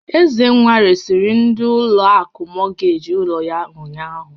Ezenwa resịrị ndị ụlọ akụ mọgeeji ụlọ yá ụnyaahụ.